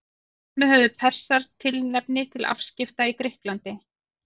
Þar með höfðu Persar tilefni til afskipta í Grikklandi.